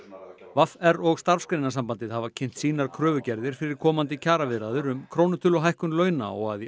v r og Starfsgreinasambandið hafa kynnt sínar kröfugerðir fyrir komandi kjaraviðræður um krónutöluhækkun launa og að í